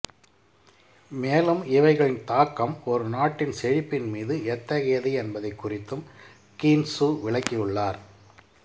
மேலும் இவைகளின் தாக்கம் ஒரு நாட்டின் செழிப்பின் மீது எத்தகையது என்பதைக் குறித்தும் கீன்சு விளக்கியுள்ளார்